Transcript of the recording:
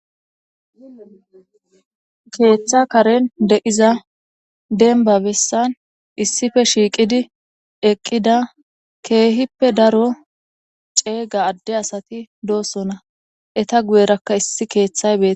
Keetha Karen de'iza demba besan issippe shiiqidi eqida keehippe daro cega ade asti dosona , eta guyeraka issi keethay betes